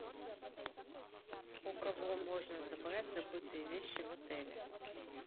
у кого можно забрать забытые вещи в отеле